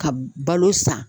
Ka balo san